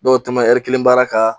Dɔw tamasiɛri baara ka